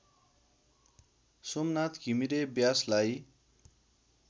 Somnath Ghimire व्यासलाई